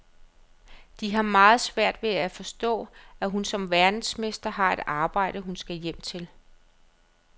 De har meget svært ved at forstå, at hun som verdensmester har et arbejde, hun skal hjem til.